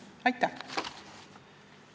Aitäh!